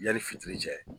Yanni fitiri cɛ